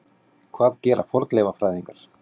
Hvað gera fornleifafræðingar?